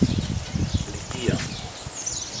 Litija.